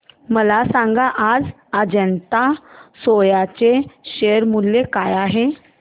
मला सांगा आज अजंता सोया चे शेअर मूल्य काय आहे